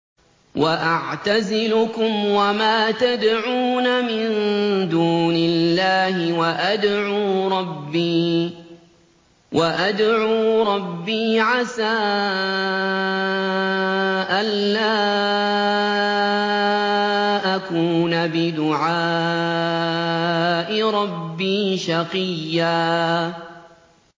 وَأَعْتَزِلُكُمْ وَمَا تَدْعُونَ مِن دُونِ اللَّهِ وَأَدْعُو رَبِّي عَسَىٰ أَلَّا أَكُونَ بِدُعَاءِ رَبِّي شَقِيًّا